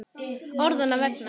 Orðanna vegna.